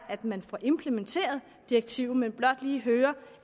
at man får implementeret direktivet vil blot lige høre